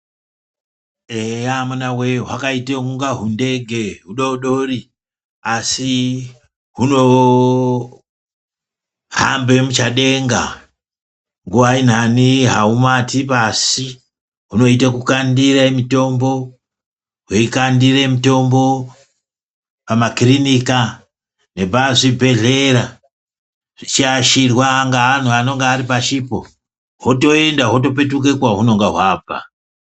Eya amunawe hwakaite kunga hundege hudodori asi hunohambe muchadenga nguwa inhani haumati pashi hunoite kukandire mitombo ,hweikandire mitombo pamakirinika nepazvibhehlera zvichiashirwa ngeanhu anonga aripashipo hotoenda hotopetuka kwahunonga hwabva.